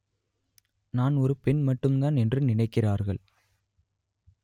நான் ஒரு பெண் மட்டும்தான் என்று நினைக்கிறார்கள்